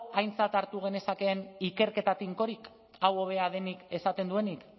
aintzat hartu genezakeen ikerketa finkorik hau hobea denik esaten duenik